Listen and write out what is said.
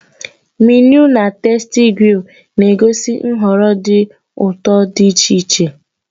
Menịu na "TastyGrill" na-egosi nhọrọ dị ụtọ dị iche iche.